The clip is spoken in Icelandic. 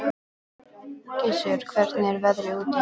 Gissur, hvernig er veðrið úti?